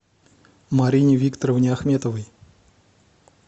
марине викторовне ахметовой